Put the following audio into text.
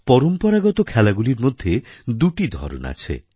পরম্পরাগত খেলাগুলির মধ্যে দুটি ধরন আছে